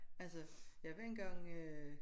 Altså jeg var engang øh